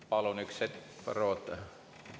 Palun üks hetk, Varro, oota!